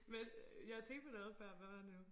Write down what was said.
Men jeg tænkte på noget før hvad var det nu